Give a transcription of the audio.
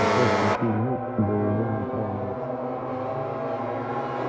сейчас в сети нет голубой направленности